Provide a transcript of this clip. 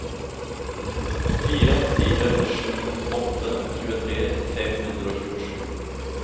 fire fire sju åtte tjuetre fem hundre og tjuesju